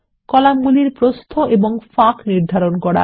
কলামগুলির প্রস্থ এবং ফাঁক নির্ধারণ করা